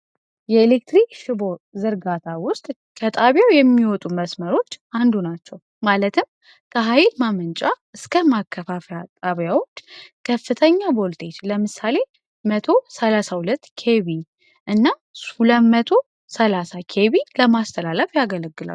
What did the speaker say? የኤሌክትሪክ ሽቦ ዘርጋታ ውስጥ ከጣቢያው የሚወጡ መስመሮች አንዱ ናቸው። ማለትም ከኃይድ ማመንጫ እስከ ማከባፊያ ጣቢያዎች ከፍተኛ ቦልጤች ለምሳሌ 1032 ኬቪ እና 2030 ኬቪ ለማስተላለፍ ያገለግለው።